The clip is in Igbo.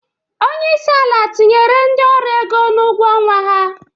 Onyeisi ala tinyere ndi ọru ego n'ugwo ọnwa ha.